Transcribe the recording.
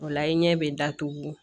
O la i ɲɛ bɛ datugu